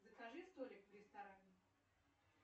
закажи столик в ресторане